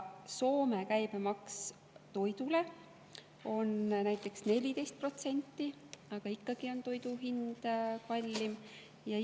Soome käibemaks toidule on näiteks 14%, aga ikkagi on toidu hind kallim kui meil.